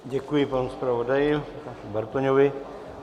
Děkuji panu zpravodaji Bartoňovi.